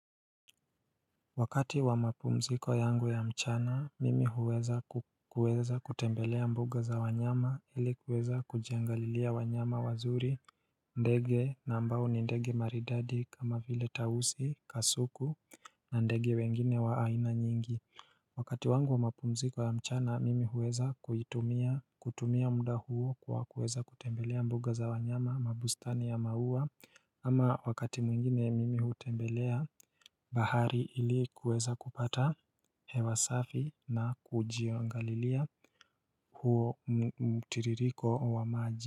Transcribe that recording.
Wakati wa mapumziko yangu ya mchana, mimi huweza kuweza kutembelea mbuga za wanyama ili kuweza kujiangalilia wanyama wazuri ndege na ambao ni ndege maridadi kama vile tausi, kasuku na ndege wengine wa aina nyingi Wakati wangu wa mapumziko ya mchana mimi huweza kuitumia kutumia muda huo kwa kuweza kutembelea mbuga za wanyama, mabustani ya maua ama wakati mwingine mimi hutembelea bahari ili kuweza kupata hewa safi na kujiangalilia huo mtiririko wa maji.